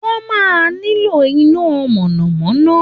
Wọ́n máa nílò iná mọ̀nà-mọ́ná